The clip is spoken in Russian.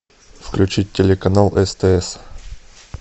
включить телеканал стс